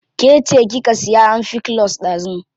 Ke ce kika siya amfikulus dazu.